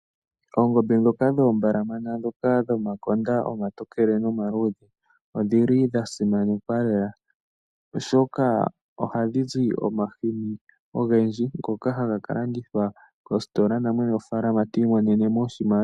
Oongombe ndhoka dhoombalamana dhomakonda omatokele nomaluudhe odhi li dha simanekwa lela, oshoka ohadhi zi omahini ogendji ngoka haga ka landithwa kositola namwene gofaalama ti imonene mo oshimaliwa.